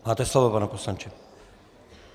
Máte slovo, pane poslanče.